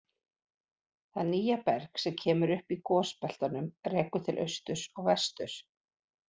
Það nýja berg sem kemur upp í gosbeltunum rekur til austurs og vesturs.